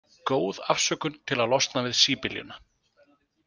Góð afsökun til að losna við síbyljuna.